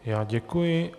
Já děkuji.